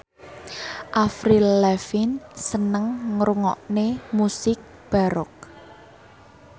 Avril Lavigne seneng ngrungokne musik baroque